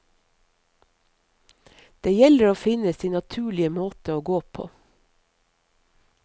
Det gjelder å finne sin naturlige måte å gå på.